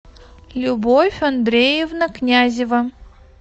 любовь андреевна князева